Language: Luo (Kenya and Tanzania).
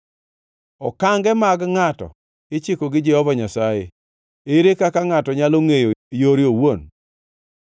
Okange mag ngʼato ichiko gi Jehova Nyasaye. Ere kaka ngʼato nyalo ngʼeyo yore owuon?